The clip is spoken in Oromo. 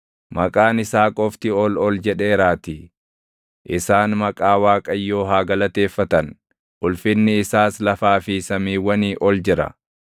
Maqaan isaa qofti ol ol jedheeraatii, isaan maqaa Waaqayyoo haa galateeffatan; ulfinni isaas lafaa fi samiiwwanii ol jira.